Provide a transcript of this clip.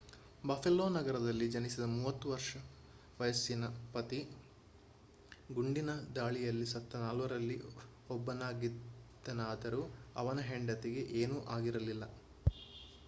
buffalo ನಗರದಲ್ಲಿ ಜನಿಸಿದ 30 ವರ್ಷ ವಯಸ್ಸಿನ ಪತಿ ಗುಂಡಿನ ದಾಳಿಯಲ್ಲಿ ಸತ್ತ ನಾಲ್ವರಲ್ಲಿ ಒಬ್ಬನಾಗಿದ್ದನಾದರೂ ಅವನ ಹೆಂಡತಿಗೆ ಏನೂ ಆಗಿರಲಿಲ್ಲ